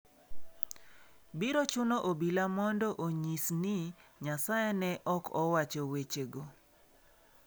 Biro chuno obila mondo onyis ni Nyasaye ne ok owacho wechego.